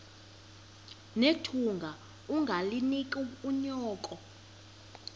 nethunga ungalinik unyoko